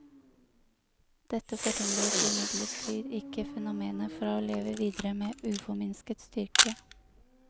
Dette forhindret imidlertid ikke fenomenet fra å leve videre med uforminsket styrke.